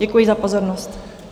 Děkuji za pozornost.